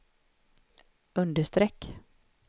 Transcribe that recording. understreck